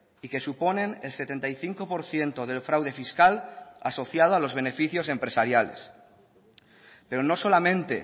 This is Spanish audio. y que suponen el setenta y cinco por ciento del fraude fiscal asociado a los beneficios empresariales pero no solamente